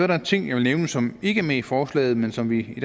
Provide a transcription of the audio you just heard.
der en ting jeg vil nævne som ikke er med i forslaget men som vi i